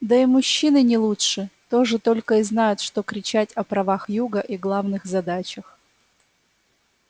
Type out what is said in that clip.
да и мужчины не лучше тоже только и знают что кричать о правах юга и главных задачах